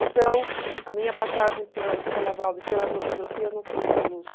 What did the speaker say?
Então, a minha passagem pela Escola Waldorf, pela antroposofia, não foi só luz.